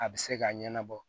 A bɛ se ka ɲɛnabɔ